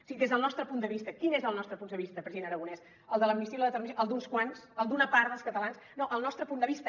si des del nostre punt de vista quin és el nostre punt de vista president aragonès el de l’amnistia i l’autodeterminació el d’uns quants el d’una part dels catalans no el nostre punt de vista